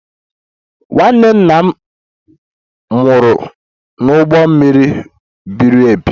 Nwanne nna m nwụrụ n'ụgbọ mmiri mebiri emebi